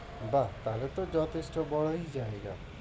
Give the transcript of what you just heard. বাহ! ভালো তো যথেষ্ট বড়ই জায়গা।